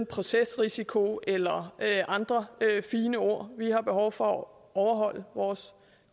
procesrisiko eller andre fine ord vi har behov for at overholde vores